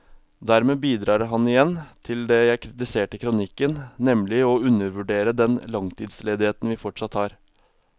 Dermed bidrar han igjen til det jeg kritiserte i kronikken, nemlig å undervurdere den langtidsledigheten vi fortsatt har.